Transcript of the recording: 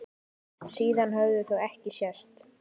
Síðan höfðu þau ekki sést.